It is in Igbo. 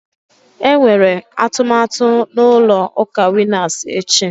Enwere atụmatụ na ụlọ ụka Winas echi